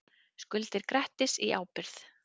Skuldir Grettis í ábyrgð